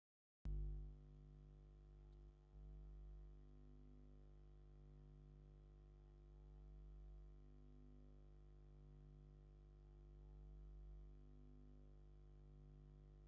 ሎጎ ናይ ኣፍሪካ ኮሌጅ ማይክሮ ፋይናንስ ዝብል ብኣማርኛን ኢንግሊዝን ዝተፃሓፈ ኮይኑ ኣብ ብጫ ብሰማያዊ ናይ ኣፍሪካ ካርታ ኣለዎ ። ኣብቲ ካርታ ዘሎ ፅሑፍ እንታይ እዩ ?